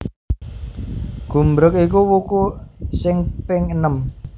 Gumbreg iku wuku sing ping enem